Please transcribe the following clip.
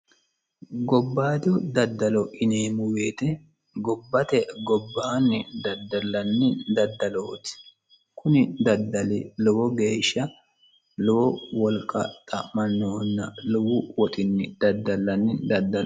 gobbayidi daddalo yineemmo woyite gibbate gobbaanni daddallanni daddalooti kuni daddali lowo geeshsha lowo wolqa xa'mannohonna lowo wolqani daddallanni daddalooti